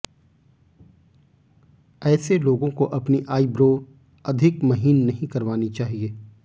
ऐसे लोगों को अपनी आई ब्रो अधिक महीन नहीं करवानी चाहिए